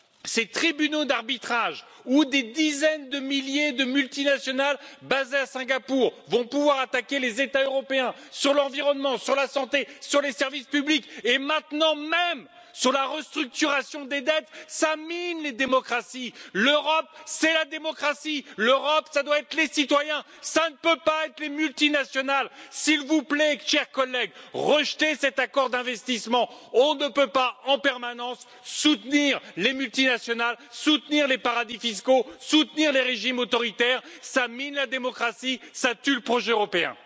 Ces tribunaux d'arbitrage où des dizaines de milliers de multinationales basées à Singapour vont pouvoir attaquer les États européens sur l'environnement, sur la santé, sur les services publics et maintenant même sur la restructuration des dettesǃ Cela mine les démocratiesǃ L'Europe, c'est la démocratie, l'Europe, ça doit être les citoyens, ça ne peut pas être les multinationalesǃ S'il vous plaît, chers collègues, rejetez cet accord d'investissement, on ne peut pas en permanence soutenir les multinationales, soutenir les paradis fiscaux, soutenir les régimes autoritaires ça mine la démocratie, ça tue le projet européenǃ